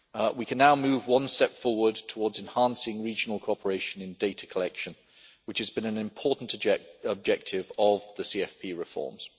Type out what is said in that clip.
We can now move one step forward towards enhancing regional cooperation in data collection, which has been an important objective of the CFP reforms.